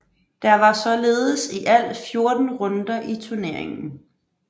Der var således i alt 14 runder i turneringen